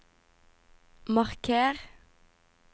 marker